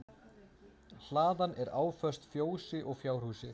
Hlaðan er áföst fjósi og fjárhúsi